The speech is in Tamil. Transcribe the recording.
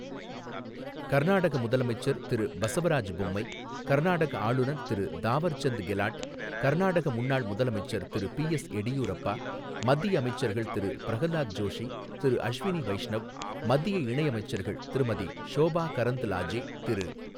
கர்நாடக முதலமைச்சர் திரு பசவராஜ் பொம்மை, கர்நாடக ஆளுநர் திரு தாவர் சந்த் கெலாட், கர்நாடக முன்னாள் முதலமைச்சர் திரு பி எஸ் எடியூரப்பா, மத்திய அமைச்சர்கள் திரு பிரஹலாத் ஜோஷி, திரு அஷ்வினி வைஷ்ணவ், மத்திய இணையமைச்சர்கள் திருமதி ஷோபா கரந்த்லாஜே, திரு.